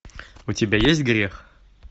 у тебя есть грех